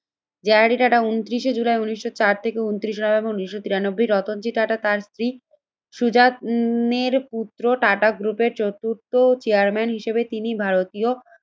যে R D Tata ঊনত্রিশে জুলাই উন্নিশশো চার থেকে ঊনত্রিশে নভেম্বর উন্নিশশো তিরানব্বই রাতানজি টাটা তার স্ত্রী সুজানের পুত্র টাটা গ্রপের চতুর্থ চেয়ারম্যান হিসেবে তিনি ভারতীয়